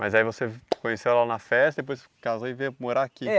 Mas aí você conheceu ela na festa, depois casou e veio morar aqui? É.